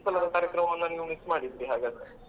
ಈ ಸಲ ಕಾರ್ಯಕ್ರಮವನ್ನ ನೀವು miss ಮಾಡಿದ್ರಿ ಹಾಗಾದ್ರೆ .